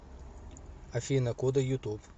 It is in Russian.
афина кода ютуб